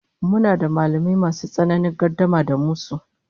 Muna da mallamai masu tsananin gardama da musu